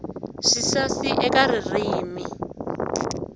swisasi eka ririmi